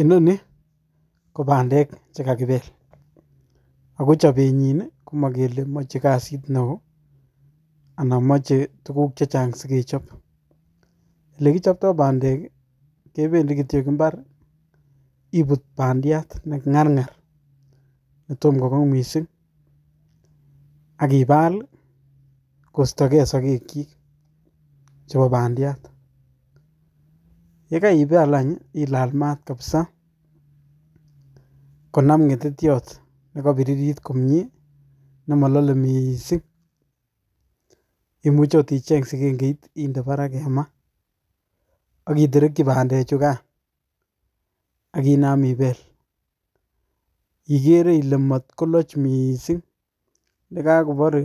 Inoni kopandek chekakibel ako chopenyin komo kele moche kazit neo ana moche tukuk che chang sikechop ole kichoptoo pandek kii kependii kityok imbar ibut pandiat nengargar netom kokong missing ak ibal kosto gee sokek chiik chepo pandiat yekaibal anch hii ilal maat kapsaa konam ngetetyot nekobiririt komie nemolole missing imuche okot icheng sikengei indeparak en maa ak itereki pandek chukan ak inam ibel, ikere ile moloch missing yekakobore